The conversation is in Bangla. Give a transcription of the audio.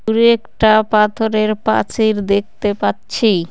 দূরে একটা পাথরের পাচির দেখতে পাচ্ছি।